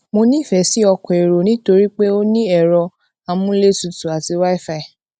mo nīfè sí ọkò èrò nítorí pé ó ní èrọ amúlétutù àti wifi